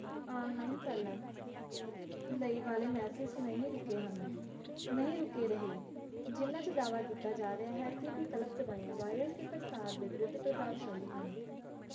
online ਚੱਲਣ ਲਈ ਵਾਲੇ message ਨਹੀਂ ਰੁਕੇ ਹਨ ਨਹੀਂ ਰੁਕੇ ਰਹੇ ਜਿਹਨਾਂ ਚ ਦਾਅਵਾ ਕਿੱਤਾ ਜਾ ਰਿਹਾ ਹੈ ਕਿ ਵਿਕਲਪ ਦਵਾਈਆਂ virus ਦੇ ਪ੍ਰਸਾਰ ਦੇ ਵਿਰੁੱਧ ਪ੍ਰਭਾਵਸ਼ਾਲੀ ਹਨ